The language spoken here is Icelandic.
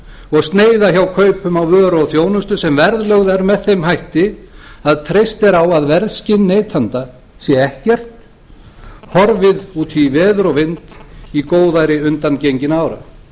og sneiða hjá kaupum á vöru og þjónustu sem verðlögð er með þeim hætti að treyst er á að verðskyn neyta ára sé ekkert horfið út í veður og vind í góðæri undangenginna ára